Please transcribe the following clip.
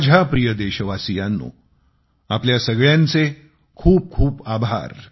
माझ्या प्रिय देशवासीयांनो आपल्या सगळ्यांचे खूप खूप आभार